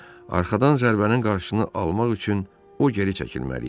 Arxadan zərbənin qarşısını almaq üçün o geri çəkilməli idi.